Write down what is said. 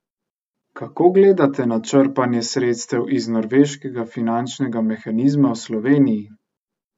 Kako gledate na črpanje sredstev iz norveškega finančnega mehanizma v Sloveniji?